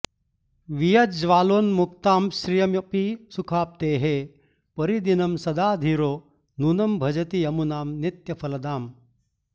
वियज्ज्वालोन्मुक्तां श्रियमपि सुखाप्तेः परिदिनं सदा धीरो नूनं भजति यमुनां नित्यफलदाम्